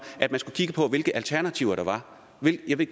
at man skulle kigge på hvilke alternativer der var